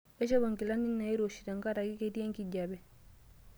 Aishopo nkilani nairoshi tenkaraki ketii enkijiepe.